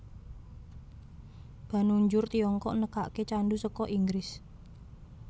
Banujur Tiongkok nekake candu saka Inggris